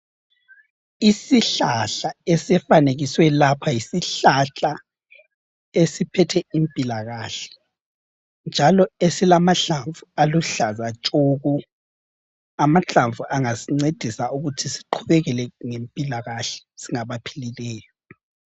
Isihlahla esifanekiswe lapha yisihlahla esiphethe impilakahle njalo esilamahlamvu aluhlaza tshoko. Amahlamvu angasincedisa ukuthi siqhubekele ngempilakahle singabaphilileyo